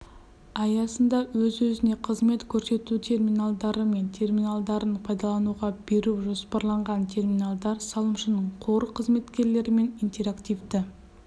аясында өз-өзіне қызмет көрсету терминалдары мен терминалдарын пайдалануға беру жоспарланған терминалдар салымшының қор қызметкерлерімен интерактивті